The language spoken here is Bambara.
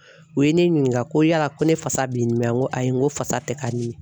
U ye ne ɲininka ko yala ko ne fasa be n dimi a? N ko ayi n ko fasa tɛ ka n dimi